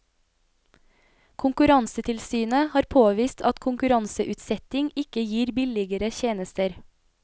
Konkurransetilsynet har påvist at konkurranseutsetting ikke gir billigere tjenester.